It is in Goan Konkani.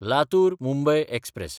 लातूर–मुंबय एक्सप्रॅस